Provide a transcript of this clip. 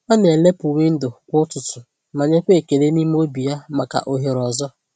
Ọ na-elepụ windo kwa ụtụtụ ma nyekwa ekele n’ime obi ya maka ohere ọzọ.